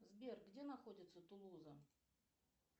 сбер где находится тулуза